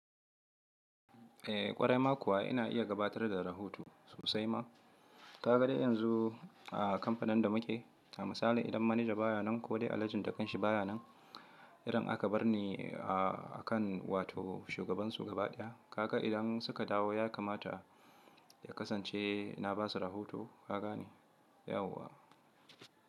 Eh ƙwarai ma kuwa ina iya gabatar da rahoto sosai ma. Ka ga dai yanzu a kampanin da muke, a misali idan manaja baya nan ko dai alajin da kanshi baya nan, irin aka bar ni a kan wato shugabansu gaba ɗaya, kaka idan suka dawo ya kamata ya kasance ina basa rahoto. Kagane, yauwa!